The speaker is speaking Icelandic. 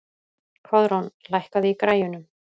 Koðrán, lækkaðu í græjunum.